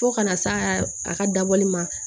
Fo kana s'a a ka dabɔli ma